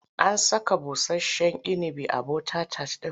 An saka busasshen inibi a bota-tat ɗin?